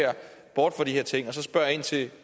bort fra de her ting og spørge ind til